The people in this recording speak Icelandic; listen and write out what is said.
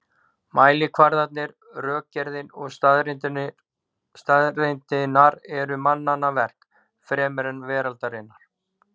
Mælikvarðarnir, rökgerðin og staðreyndirnar eru mannanna verk fremur en veraldarinnar.